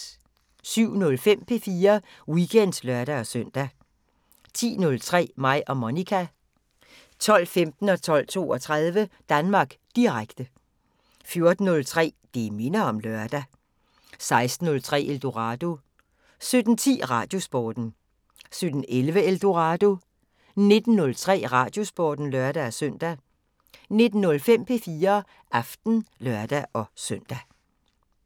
07:03: P4 Weekend (lør-søn) 10:03: Mig og Monica 12:15: Danmark Direkte 12:32: Danmark Direkte 14:03: Det minder om lørdag 16:03: Eldorado 17:10: Radiosporten 17:11: Eldorado 19:03: Radiosporten (lør-søn) 19:05: P4 Aften (lør-søn)